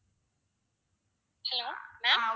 hello ma'am